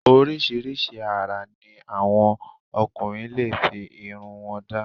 Oríṣiríṣi ara ní àwọn ọkùnrin lè fi irun wọn da